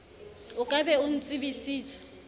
o ka be o ntsebisitse